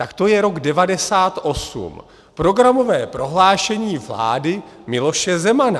Tak to je rok 1998, programové prohlášení vlády Miloše Zemana.